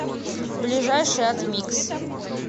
ближайший атмикс